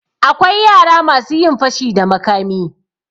Akwai yara masu yin fashi da makami.